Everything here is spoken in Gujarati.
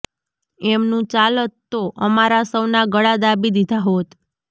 એમનું ચાલત તો અમારા સૌનાં ગળા દાબી દીધા હોત